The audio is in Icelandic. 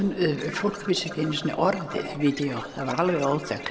fólk vissi ekki einu sinni orðið video það var alveg óþekkt